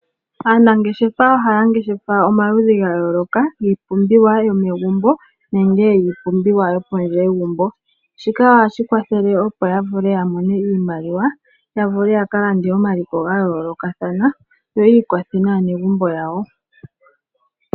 Aanangeshefa ohaya ngeshefa omaludhi ga yooloka giipumbiwa yomegumbo nenge yiipumbiwa yopondje yegumbo shika ohashi kwathele opo yavule yamone iimaliwa yavule ya kalande omaliko ga yoolokathana yo yi ukwathe naanegumbo yawo.